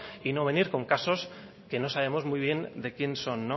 y no venir con casos que no sabemos muy bien de quien son